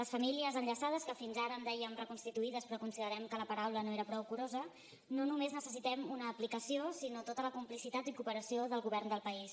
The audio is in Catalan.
les famílies enllaçades que fins ara en dèiem reconstituïdes però considerem que la paraula no era prou curosa no només necessitem una aplicació sinó tota la complicitat i cooperació del govern del país